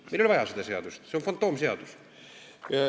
Meil ei ole seda seadust vaja, see on fantoomseadus.